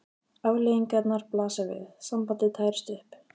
Afleiðingarnar blasa við: sambandið tærist upp.